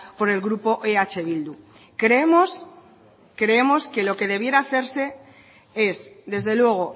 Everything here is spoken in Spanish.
por el grupo eh bildu creemos creemos que lo debiera hacerse es desde luego